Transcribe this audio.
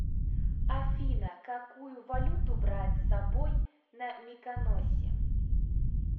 афина какую валюту брать с собой на миконосе